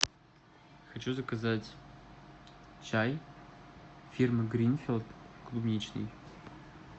хочу заказать чай фирмы гринфилд клубничный